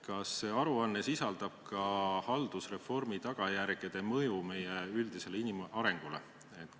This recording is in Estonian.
Kas see aruanne sisaldab ka haldusreformi tagajärgede mõju meie üldisele inimarengule?